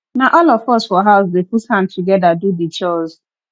na all of us for house dey put hand togeda do di chores